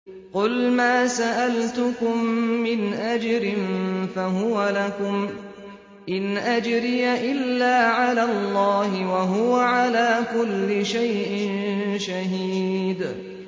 قُلْ مَا سَأَلْتُكُم مِّنْ أَجْرٍ فَهُوَ لَكُمْ ۖ إِنْ أَجْرِيَ إِلَّا عَلَى اللَّهِ ۖ وَهُوَ عَلَىٰ كُلِّ شَيْءٍ شَهِيدٌ